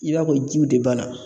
I b'a fɔ jiw de banna